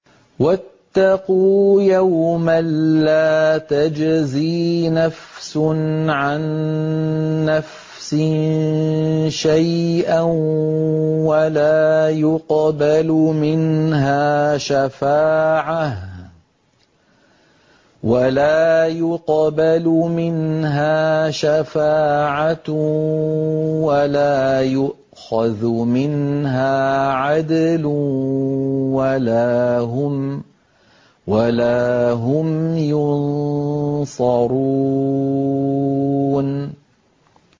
وَاتَّقُوا يَوْمًا لَّا تَجْزِي نَفْسٌ عَن نَّفْسٍ شَيْئًا وَلَا يُقْبَلُ مِنْهَا شَفَاعَةٌ وَلَا يُؤْخَذُ مِنْهَا عَدْلٌ وَلَا هُمْ يُنصَرُونَ